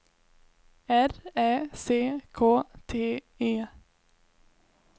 R Ä C K T E